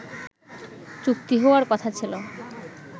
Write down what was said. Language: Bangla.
চুক্তি হওয়ার কথা ছিল